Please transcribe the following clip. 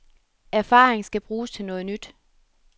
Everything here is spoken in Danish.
Erfaring skal bruges til noget nyt.